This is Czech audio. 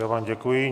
Já vám děkuji.